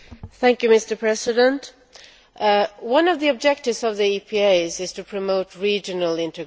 Mr President, one of the objectives of the EPAs is to promote regional integration.